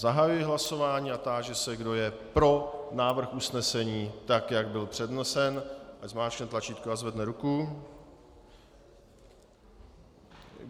Zahajuji hlasování a táži se, kdo je pro návrh usnesení tak, jak byl přednesen, ať zmáčkne tlačítko a zvedne ruku.